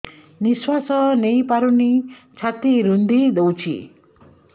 ନିଶ୍ୱାସ ନେଇପାରୁନି ଛାତି ରୁନ୍ଧି ଦଉଛି